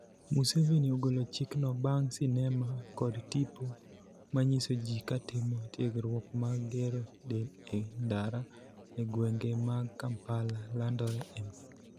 Museveni ogolo chik no bang' sinema kod tipo manyiso ji katimo tiegruok mag gero del e ndara e gwenge mag Kampala, landore e mbui